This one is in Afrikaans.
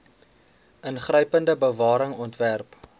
ingrypende bewaring ontwerp